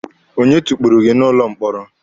Onye tukpuru gị n'ụlọ mkpọrọ?